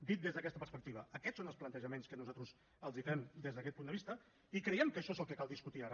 dit des d’aquesta perspectiva aquests són els plantejaments que nosaltres els fem des d’aquest punt de vista i creiem que això és el que cal discutir ara